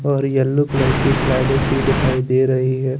और yellow colour कि slide सी दिखाई दे रही है।